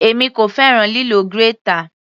Èmi kò fẹ́ràn lílo grater.